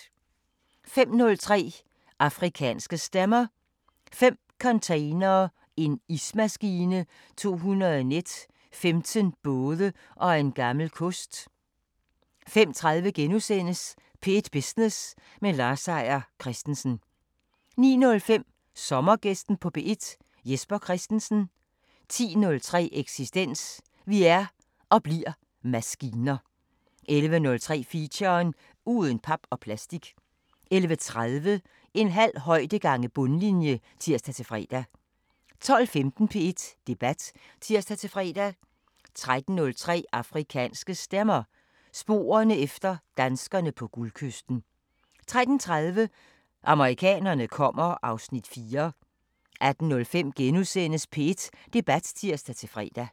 05:03: Afrikanske Stemmer: Fem containere, en ismaskine, 200 net, 15 både og en gammel kost 05:30: P1 Business med Lars Seier Christensen * 09:05: Sommergæsten på P1: Jesper Christensen 10:03: Eksistens: Vi er – og bliver – maskiner 11:03: Feature: Uden pap og plastik 11:30: En halv højde gange bundlinje (tir-fre) 12:15: P1 Debat (tir-fre) 13:03: Afrikanske Stemmer: Sporerne efter danskerne på Guldkysten 13:30: Amerikanerne kommer (Afs. 4) 18:05: P1 Debat *(tir-fre)